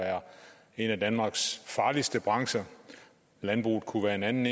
en af danmarks farligste brancher landbruget kunne være en anden